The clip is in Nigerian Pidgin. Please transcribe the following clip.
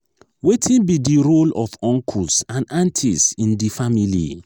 wetin be di di role of uncles and aunties in di family?